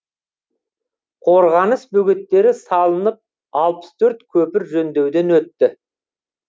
қорғаныс бөгеттері салынып алпыс төрт көпір жөндеуден өтті